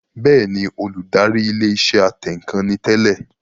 Bẹ́ẹ̀ni, Olùdarí ilé iṣẹ́ atẹǹkan ni tẹ́lẹ̀